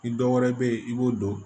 Ni dɔ wɛrɛ be yen i b'o dɔn